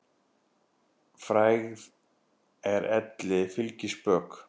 Frægð er elli fylgispök.